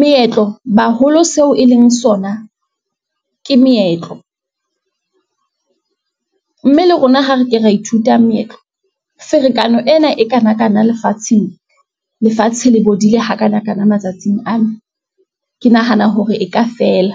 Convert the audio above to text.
meetlo baholo seo e leng sona ke meetlo, mme le rona ho re ke ra ithuta meetlo, ferekane ena e kanakana lefatsheng, lefatshe le bodile ha kanakana matsatsing ana. Ke nahana hore e ka fela.